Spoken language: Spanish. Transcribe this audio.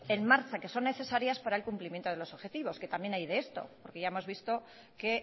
en marcha que son necesarias para el cumplimiento de los objetivos que también hay de esto porque ya hemos visto que